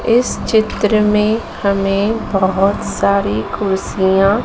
इस चित्र में हमें बहोत सारी कुर्सियां--